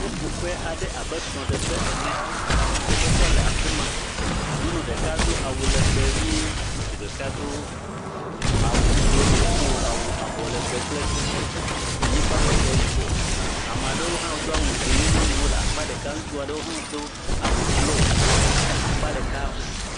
Ƒuƒoƒe aɖe abe srɔ̃ɖeƒe ene, dzidzɔkpɔkpɔ le afi ma, nyɔnu ɖeka do awu legbee ʋie, ŋutsu ɖeka do awu ɖe dziƒo, awu abɔ legbee kple anyigbametɔ yibɔ. Ame aɖewo hã wodo awu dzɛ̃ nye nyɔnuwo le akpa ɖeka eye ŋutsu aɖewo hã do awu blo ɖe akpa ɖeka.